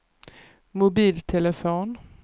mobiltelefon